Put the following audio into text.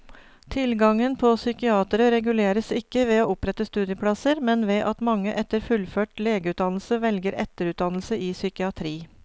Tilgangen på psykiatere reguleres ikke ved å opprette studieplasser, men ved at mange etter fullført legeutdannelse velger etterutdannelse i psykiatri.